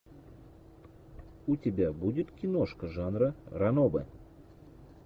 у тебя будет киношка жанра ранобэ